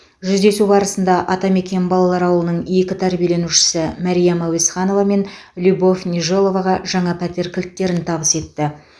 жүздесу барысында атамекен балалар ауылының екі тәрбиеленушісі мәриям әуезханова мен любовь нежеловаға жаңа пәтер кілттерін табыс етті